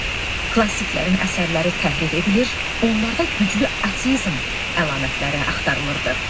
Klassiklərin əsərləri təhrif edilir, onlarda güclü ateizm əlamətləri axtarılırdı.